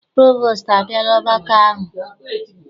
Provostu abịala ọgbakọ ahụ?